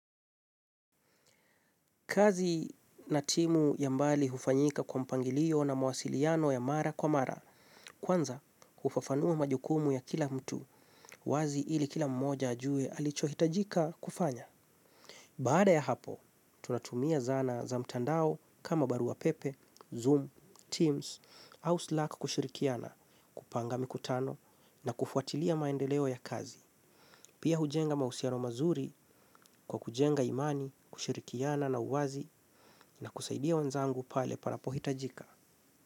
Kazi na timu ya mbali hufanyika kwa mpangilio na mawasiliano ya mara kwa mara, kwanza hufafanua majukumu ya kila mtu, wazi ili kila mmoja ajue alichohitajika kufanya. Baada ya hapo, tunatumia zana za mtandao kama barua pepe, Zoom, Teams, house luck kushirikiana kupanga mikutano na kufuatilia maendeleo ya kazi. Pia hujenga mahusiano mazuri kwa kujenga imani, kushirikiana na uwazi na kusaidia wanzangu pale panapohitajika.